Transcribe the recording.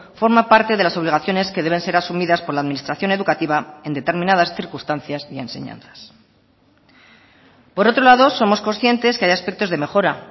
forma parte de las obligaciones que deben ser asumidas por la administración educativa en determinadas circunstancias y enseñanzas por otro lado somos conscientes que hay aspectos de mejora